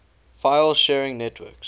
file sharing networks